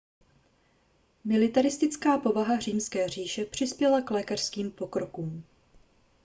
militaristická povaha římské říše přispěla k lékařským pokrokům